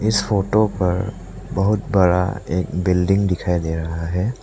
इस फोटो पर बहुत बड़ा एक बिल्डिंग दिखाई दे रहा है।